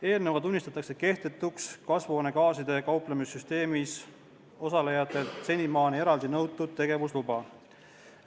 Eelnõuga tunnistatakse kehtetuks kasvuhoonegaasidega kauplemise süsteemis osalejatelt senimaani eraldi nõutud tegevusluba.